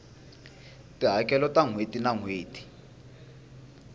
tihakelo ta nhweti na nhweti